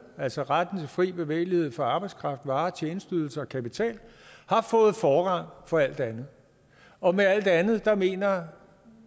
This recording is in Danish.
altså retten til fri bevægelighed for arbejdskraft varer tjenesteydelser og kapital har fået forrang for alt andet og med alt andet mener